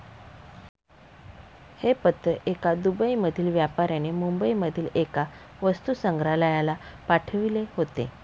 हे पत्र एका दुबईमधील व्यापाऱ्याने मुंबईमधील एका वस्तुसंग्रहालयाला पाठविले होते.